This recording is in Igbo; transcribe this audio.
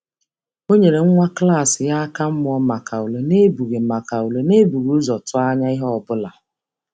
Ọ nyere nwa klas ya aka mụọ maka ule n’ebughị maka ule n’ebughị ụzọ tụọ anya ihe ọ bụla.